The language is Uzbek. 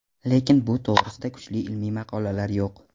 Lekin bu to‘g‘risida kuchli ilmiy maqolalar yo‘q.